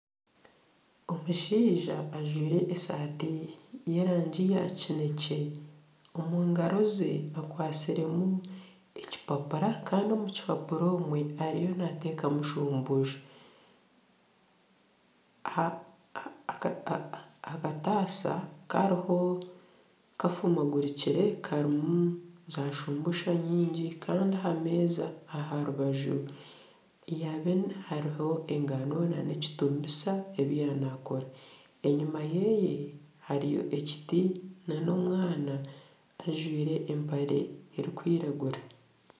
Omushaija ajwaire esaati y'erangi ya kinekye omu ngaro ze akwatsiremu ekipapura kandi omu kipapura omwe ariyo naateekamu shumbusha aha kataasa kariho kafuma gurukire karimu zashumbusha nyingi kandi aha meeza aha rubaju hariho engano n'ekituubisa ebi yaaba naakora enyuma ye hariyo ekiti n'omwana ojwire empare erikwiragura.